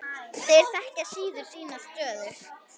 Þeir þekkja síður sína stöðu.